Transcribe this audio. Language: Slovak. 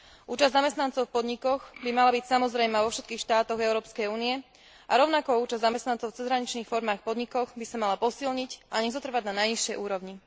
Účasť zamestnancov v podnikoch by mala byť samozrejmá vo všetkých štátoch Európskej únie a rovnako účasť zamestnancov v cezhraničných formách podnikov by sa mala posilniť a nezotrvať na najnižšej úrovni.